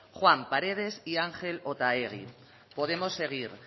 juan paredes y angel otaegi podemos seguir